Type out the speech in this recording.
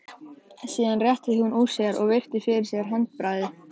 Síðan rétti hún úr sér og virti fyrir sér handbragðið.